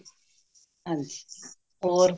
ਹਾਂਜੀ ਹੋਰ